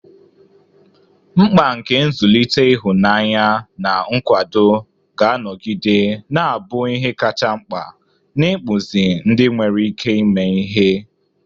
Mkpa nke nzụlite ịhụnanya na nkwado ga-anọgide na-abụ ihe kacha mkpa n'ịkpụzi ndị nwere ike ime ihe.